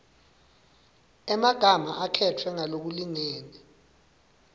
emagama akhetfwe ngalokulingene